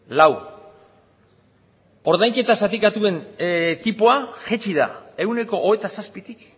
lau ordainketa zatikatuen tipoa jaitsi da ehuneko hogeita zazpitik